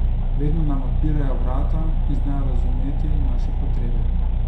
Vedno nam odpirajo vrata in znajo razumeti naše potrebe.